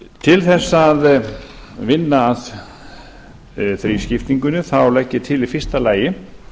til þess að vinna að þrískiptingunni þá legg ég til í fyrsta lagi